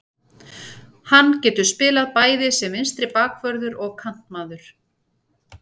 Hann getur spilað bæði sem vinstri bakvörður og kantmaður.